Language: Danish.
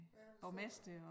Ja det så jeg